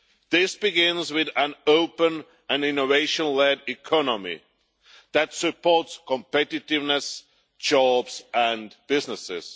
This begins with an open and innovation-led economy that supports competitiveness, jobs and businesses.